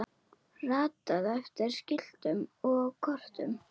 ratað eftir skiltum og kortum